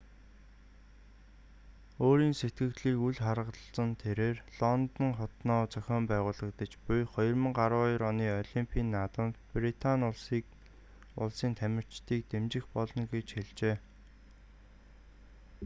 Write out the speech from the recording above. өөрийн сэтгэгдлийг үл харгалзан тэрээр лондон хотноо зохин байгуулагдаж буй 2012 оны олимпийн наадамд британи улсын тамирчдыг дэмжих болно гэж хэлжээ